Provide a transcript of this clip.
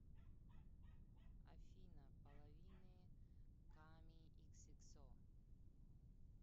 афина половины ками иксиксо